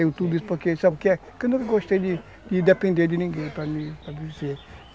sabe o que é? eu nunca gostei de depender de ninguém